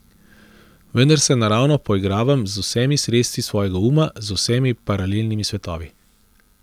Vendar se naravno poigravam z vsemi sredstvi svojega uma, z vsemi paralelnimi svetovi.